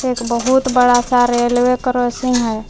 एक बहुत बड़ा सा रेलवे क्रॉसिंग है।